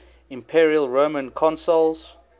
imperial roman consuls